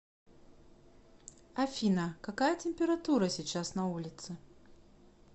афина какая температура сейчас на улице